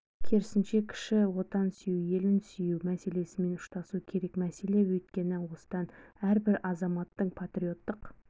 керісінше кіші отанын сүю елін сүю мәселесімен ұштасуы керек мәселе өйткені осыдан әрбір азаматтың патриоттық